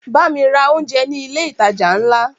Bámi ra oúnjẹ ní ilé ìtajà ńlá!